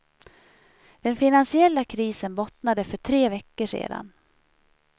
Den finansiella krisen bottnade för tre veckor sedan.